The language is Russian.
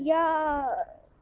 я